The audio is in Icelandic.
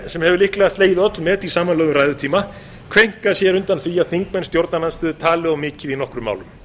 sem hefur líklega slegið öll met í samanlögðum ræðutíma kveinka sér undan því að þingmenn stjórnarandstöðu tali of mikið í nokkrum málum